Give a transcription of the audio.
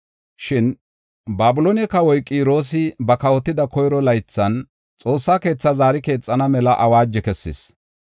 “Shin Babiloone kawoy Qiroosi ba kawotida koyro laythan, Xoossaa keethaa zaari keexana mela awaajo kessis.